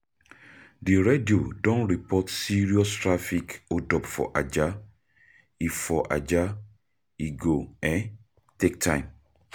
Di radio don report serious traffic hold-up for Ajah, e for Ajah, e go um take time.